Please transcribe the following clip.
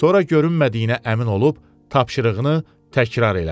Sonra görünmədiyinə əmin olub, tapşırığını təkrar elədi.